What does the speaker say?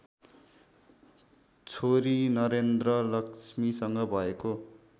छोरी नरेन्द्रलक्ष्मीसँग भएको